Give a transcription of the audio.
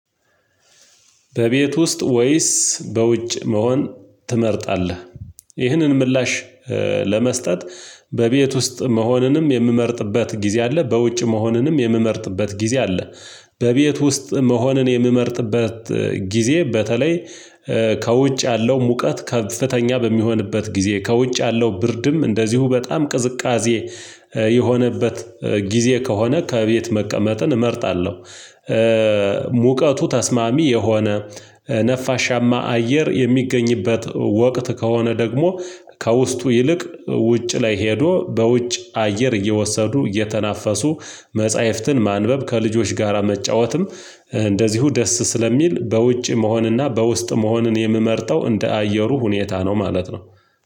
በቤት ውስጥ ወይስ በውጭ መሆን ትመርጣለህ? ይህንን ምላሽ ለመስጠት በቤት ውስጥ መሆንንም የምመርጥበት ጊዜ አለ፤ በውጭ መሆንንም የምመርጥበት ጊዜ አለ። በቤት ውስጥ መሆንን የምመርጥበት ጊዜ በተለይ ከውጭ ያለው ሙቀት ከፍተኛ በሚሆንበት ጊዜ፤ ከውጭ ያለው ብርድም እንደዚሁ በጣም ቅዝቃዜ የሆነበት ጊዜ ከሆነ ከቤት መቀመጥን እመርጣለሁ። ሙቀቱ ተስማሚ የሆነ ነፋሻማ አየር የሚገኝበት ወቅት ከሆነ ደግሞ ከውስጡ ይልቅ ውጭ ላይ ሄዶ በውጭ አየር እየወሰዱ እየተናፈሱ መጽሐፍትን ማንበብ፥ ከልጆች ጋራ መጫወትም እንደዚሁ ደስ ስለሚል በውጭ መሆንና፤ በውስጥ መሆንን የምመርጠው እንደ አየሩ ሁኔታ ነው ማለት ነው።